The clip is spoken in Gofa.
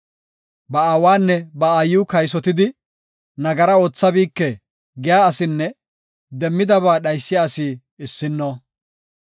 Ba aawanne ba aayiw kaysotidi, “Nagara oothabike” giya asinne demmidaba dhaysiya asi issino.